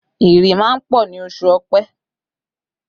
Ìrì máa ń pọ̀ ní oṣù ọ̀pẹ